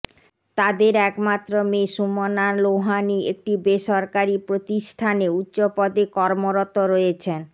তাদের একমাত্র মেয়ে সুমনা লোহানী একটি বেসরকারি প্রতিষ্ঠানে উচ্চপদে কর্মরত রয়েছেন